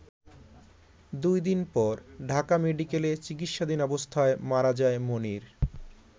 দুই দিন পর ঢাকা মেডিকেলে চিকিৎসাধীন অবস্থায় মারা যায় মনির।